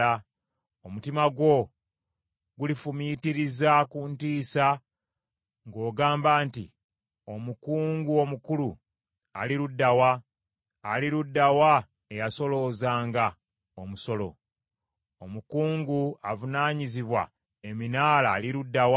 Omutima gwo gulifumiitiriza ku ntiisa ng’ogamba nti, “Omukungu omukulu ali ludda wa? Ali ludda wa eyasoloozanga omusolo? Omukungu avunaanyizibwa eminaala ali ludda wa?”